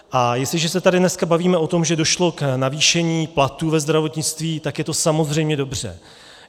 A jestliže se tady dneska bavíme o tom, že došlo k navýšení platů ve zdravotnictví, tak je to samozřejmě dobře.